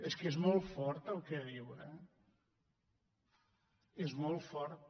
és que és molt fort el que diu eh és molt fort